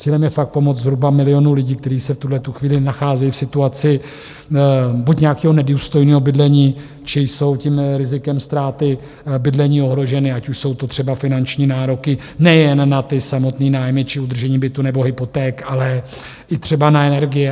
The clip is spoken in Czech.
Cílem je fakt pomoct zhruba milionu lidí, kteří se v tuhletu chvíli nacházejí v situaci buď nějakého nedůstojného bydlení, či jsou tím rizikem ztráty bydlení ohroženi, ať už jsou to třeba finanční nároky nejen na ty samotné nájmy či udržení bytu nebo hypoték, ale i třeba na energie.